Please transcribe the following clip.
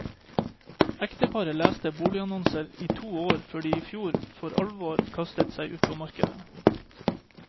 Ekteparet leste boligannonser i to år før de i fjor vår for alvor kastet seg ut i markedet.